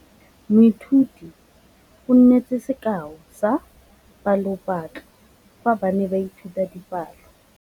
Moithuti o neetse sekaô sa palophatlo fa ba ne ba ithuta dipalo.